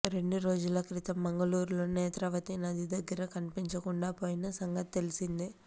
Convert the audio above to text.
రెండు రోజుల క్రితం మంగుళూరులోని నేత్రావతి నది దగ్గర కనిపించకుండా పోయిన సంగతి తెలిసిందే